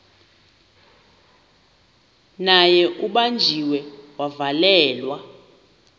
naye ubanjiwe wavalelwa